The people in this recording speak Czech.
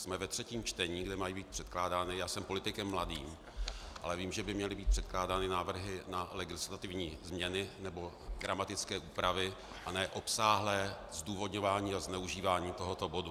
Jsme ve třetím čtení, kde mají být předkládány, já jsem politikem mladým, ale vím, že by měly být předkládány návrhy na legislativní změny nebo gramatické úpravy, a ne obsáhlé zdůvodňování a zneužívání tohoto bodu.